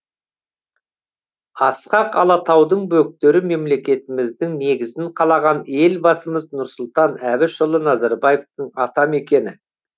асқақ алатаудың бөктері мемлекеттігіміздің негізін қалаған елбасымыз нұрсұлтан әбішұлы назарбаевтың атамекені